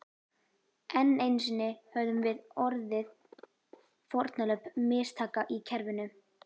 Enn einu sinni höfðum við orðið fórnarlömb mistaka í kerfinu.